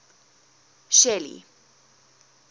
shelly